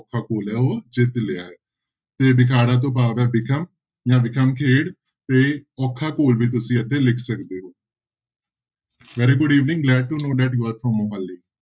ਔਖਾ ਘੋਲ ਹੈ ਉਹ ਜਿੱਤ ਲਿਆ ਹੈ, ਤੇ ਬਿਖਾੜਾ ਤੋਂ ਭਾਵ ਹੈ ਬਿਖਮ ਜਾਂ ਬਿਖਮ ਖੇਡ ਤੇ ਔਖਾ ਘੋਲ ਵੀ ਤੁਸੀਂ ਇੱਥੇ ਲਿਖ ਸਕਦੇ ਹੋ very good evening glad to know that you are from Mohali.